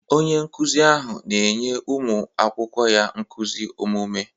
Onye nkụzi ahụ na-enye ụmụ akwụkwọ ya nkuzi omume.